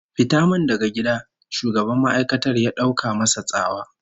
"Fita min daga gida!" Shugaban ma'aikatar ya dauka masa tsawa.